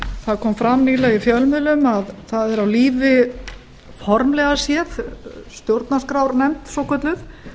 það kom fram í fjölmiðlum að það er á lífi formlega séð stjórnarskrárnefnd svokölluð